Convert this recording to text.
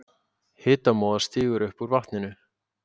Hitamóða stígur upp úr vatninu.